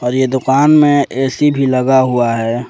ये दुकान में ए_सी भी लगा हुआ है।